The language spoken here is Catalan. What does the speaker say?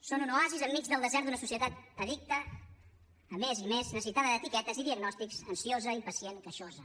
són un oasi enmig del desert d’una societat addicta a més i més necessitada d’etiquetes i diagnòstics ansiosa impacient queixosa